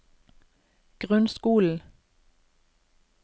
grunnskolen